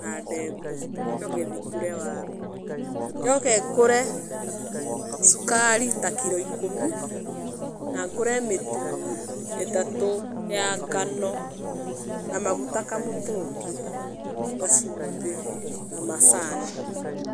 na ndengũ njoke thiĩ ngũre waru, njoke ngũre cukari ta kiro ikũmi na ngũre mĩtu ĩtatũ ya ngano na maguta kamũtũngi na cumbĩ na macani.